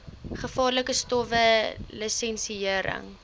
gevaarlike stowwe lisensiëring